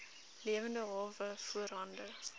lewende hawe voorhande